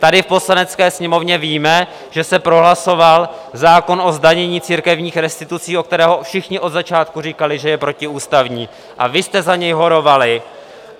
Tady v Poslanecké sněmovně víme, že se prohlasoval zákon o zdanění církevních restitucí, o kterém všichni od začátku říkali, že je protiústavní, a vy jste za něj horovali.